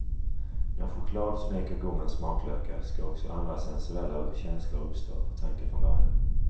När choklad smeker gommens smaklökar ska också andra sensuella känslor uppstå, var tanken från början.